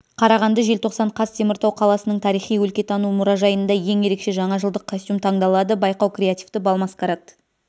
қарағанды желтоқсан қаз теміртау қаласының тарихи-өлкетану мұражайында ең ерекше жаңа жылдық костюм таңдалады байқау креативті бал-маскарад